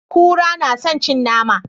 Kura na san cin nama